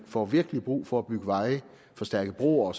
får virkelig brug for at bygge veje forstærke broer